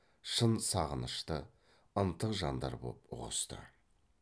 шын сағынышты ынтық жандар боп ұғысты